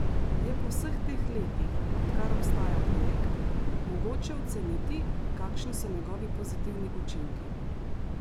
Je po vseh teh letih, odkar obstaja projekt, mogoče oceniti, kakšni so njegovi pozitivni učinki?